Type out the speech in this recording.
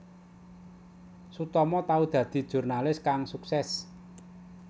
Sutomo tau dadi jurnalis kang suksès